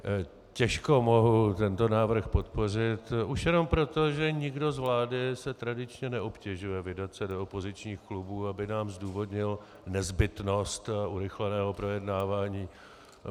Těžko mohu tento návrh podpořit už jenom proto, že nikdo z vlády se tradičně neobtěžuje vydat se do opozičních klubů, aby nám zdůvodnil nezbytnost urychleného projednávání.